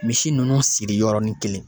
Misi nunnu siri yɔrɔnin kelen